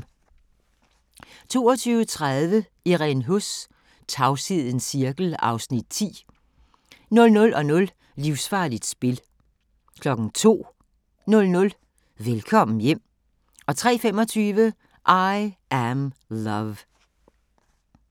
22:30: Irene Huss: Tavshedens cirkel (Afs. 10) 00:00: Livsfarligt spil 02:00: Velkommen hjem 03:25: I Am Love